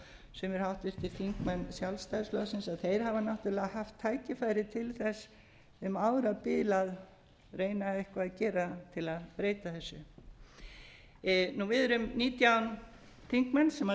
og sumir háttvirtir þingmenn sjálfstæðisflokksins að þeir hafa náttúrlega haft tækifæri til þess um árabil að reyna eitthvað að gera til að breyta þessu við erum nítján þingmenn sem